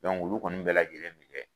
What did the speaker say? Olu kɔni bɛɛ lajɛlen bi kɛ.